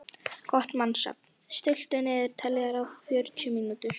Kort (mannsnafn), stilltu niðurteljara á fjörutíu mínútur.